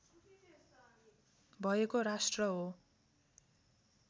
भएको राष्ट्र हो